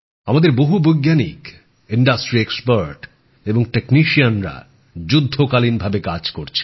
আমাদের বহু বৈজ্ঞানিক শিল্প সংস্থার বিশেষজ্ঞ এবং প্রযুক্তিবিদরা যুদ্ধকালীন তৎপরতায় কাজ করছে